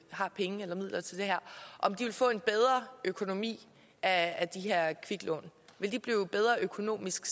har penge og midler til det her vil få en bedre økonomi af de her kviklån vil de blive økonomisk